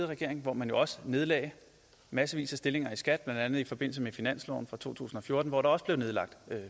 regering hvor man også nedlagde massevis af stillinger i skat blandt andet i forbindelse med finansloven for to tusind og fjorten hvor der også blev nedlagt